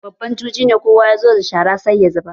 Babban juji ne, kowa ya zo da shara sai ya zubar.